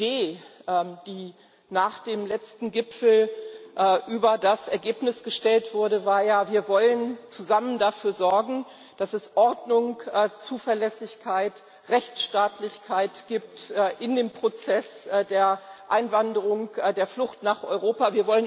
Die Idee, die nach dem letzten Gipfel über das Ergebnis gestellt wurde, war ja Wir wollen zusammen dafür sorgen, dass es Ordnung, Zuverlässigkeit, Rechtsstaatlichkeit gibt in dem Prozess der Einwanderung, der Flucht nach Europa.